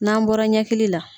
N'an bɔra ɲɛkili la.